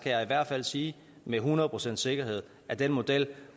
jeg i hvert fald sige med et hundrede procents sikkerhed at den model